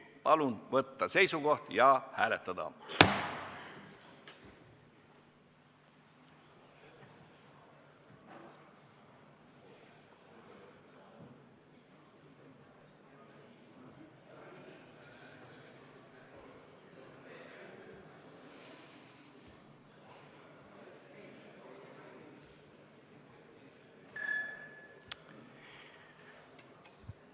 Palun võtta seisukoht ja hääletada!